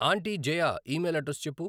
aunty Jaya email address చెప్పు